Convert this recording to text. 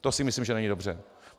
To si myslím, že není dobře.